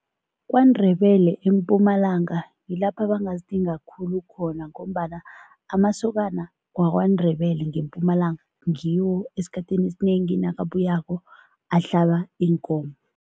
KwaNdebele eMpumalanga ngilapha ebangazithenga khulu khona ngombana amasokana waKwaNdebele ngeMpumalanga, ngiwo esikhathini esinengi nakabuyako ahlaba iinkomo.